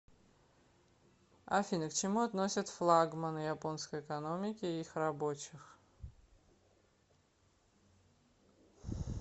афина к чему относят флагманы японской экономики и их рабочих